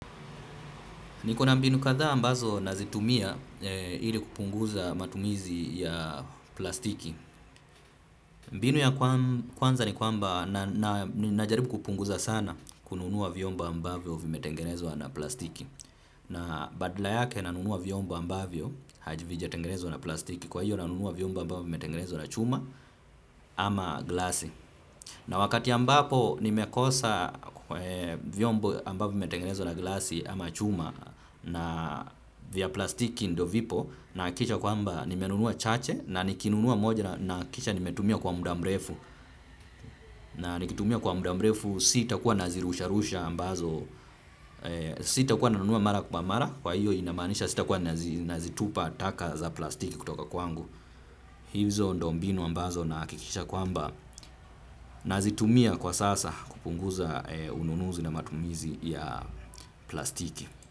Niko na mbinu kadhaa ambazo nazitumia ili kupunguza matumizi ya plastiki. Mbinu ya kwanza ni kwamba najaribu kupunguza sana kununua vyombo ambavyo vimetengenezwa na plastiki. Na badala yake nanunua vyombo ambavyo havijatengenezwa na plastiki. Kwa hiyo nanunua vyombo ambavyo vimetengenezwa na chuma ama glasi. Na wakati ambapo nimekosa vyombo ambavyo vimetengenezwa na glasi ama chuma na vya plastiki ndo vipo nahakikisha kwamba nimenunua chache na nikinunua moja nahakikisha nimetumia kwa muda mrefu. Na nikitumia kwa muda mrefu sitakuwa nazirusha rusha ambazo, sitakuwa nanunua mara kwa mara kwa hiyo inamaanisha sitakuwa nazitupa taka za plastiki kutoka kwangu. Hizo ndo mbinu ambazo nahakikisha kwamba nazitumia kwa sasa kupunguza ununuzi na matumizi ya plastiki.